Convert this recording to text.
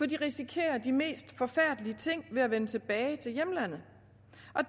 de isikerer de mest forfærdelige ting ved at vende tilbage til hjemlandet